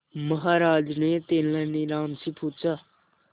महाराज ने तेनालीराम से पूछा